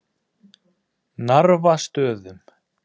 Narfastöðum